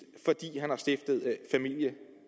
fordi han har stiftet familie